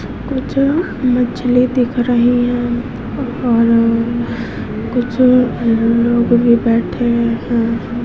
कुछ मछली दिख रही हैं और कुछ लोग भी बैठे है।